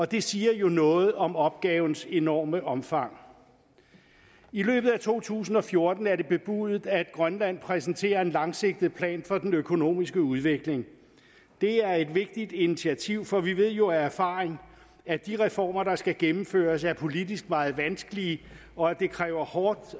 det siger jo noget om opgavens enorme omfang i løbet af to tusind og fjorten er det bebudet at grønland præsenterer en langsigtet plan for den økonomiske udvikling det er et vigtigt initiativ for vi ved jo af erfaring at de reformer der skal gennemføres er politisk meget vanskelige og at det kræver hårdt